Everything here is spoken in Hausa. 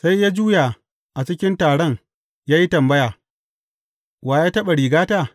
Sai ya juya a cikin taron ya yi tambaya, Wa ya taɓa rigata?